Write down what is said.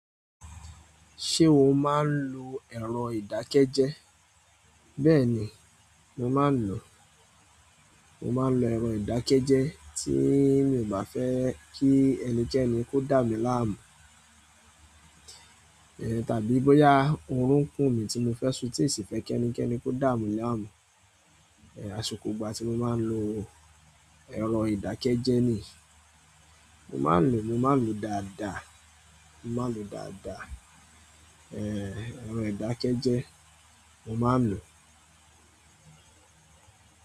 Ṣé o máa ń lo ẹ̀rọ ìdákẹ́jẹ́ẹ́? Bẹ́ẹ̀ni, mo máa ń lò o. Mo máa ń lo ẹ̀rọ ìdákẹ́jẹ́ẹ́ tí mi ò bá fẹ́ kí ẹnikẹ́ni kó dàmí láàmú. Eh, tàbí bóyá orun n kùn mí tí mo fẹ́ sun tí ì sì fẹ́ kí ẹnikẹ́ni kó dàmí láàmú. Eh, àsìkò ìgbà tí mo máa ń lo ẹ̀rọ ìdákẹ́jẹ́ nii. Mo maa n lo o, mo maa n lo o dáadáa. Mo máa ń lo dàda. Eh, ẹ̀rọ ìdákẹ́jẹ́ mo máa ń lò o.